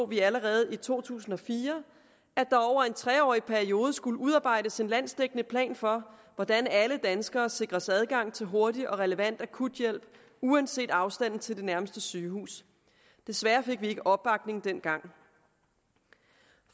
vi allerede i to tusind og fire at der over en tre årig periode skulle udarbejdes en landsdækkende plan for hvordan alle danskere sikres adgang til hurtig og relevant akuthjælp uanset afstanden til nærmeste sygehus desværre fik vi ikke opbakning dengang